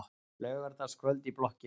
Laugardagskvöld í blokkinni.